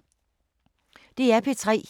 DR P3